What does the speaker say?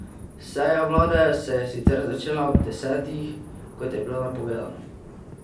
Seja vlade se je sicer začela ob desetih, kot je bilo napovedano.